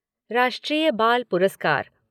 राष्ट्रीय बाल पुरस्कार